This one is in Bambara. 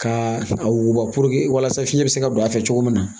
Ka a wuguba puruke walasa fiɲɛ bɛ se ka don a fɛ cogo min na